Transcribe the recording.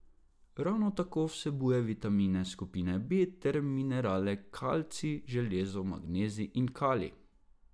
Ravno tako vsebuje vitamine skupine B ter minerale kalcij, železo, magnezij in kalij.